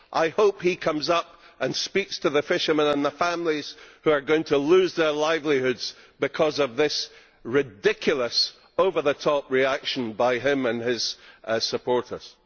I hope he comes up and speaks to the fishermen and the families who are going to lose their livelihoods because of this ridiculous, over the top reaction by him and his supporters.